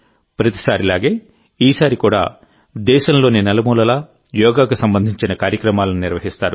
ప్రతిసారీలాగే ఈసారి కూడా దేశంలోని నలుమూలలా యోగాకు సంబంధించిన కార్యక్రమాలను నిర్వహిస్తారు